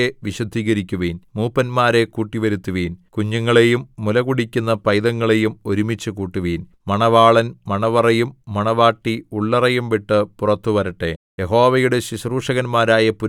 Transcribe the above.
ജനത്തെ കൂട്ടിവരുത്തുവിൻ സഭയെ വിശുദ്ധീകരിക്കുവിൻ മൂപ്പന്മാരെ കൂട്ടിവരുത്തുവിൻ കുഞ്ഞുങ്ങളെയും മുലകുടിക്കുന്ന പൈതങ്ങളെയും ഒരുമിച്ചുകൂട്ടുവിൻ മണവാളൻ മണവറയും മണവാട്ടി ഉള്ളറയും വിട്ടു പുറത്തു വരട്ടെ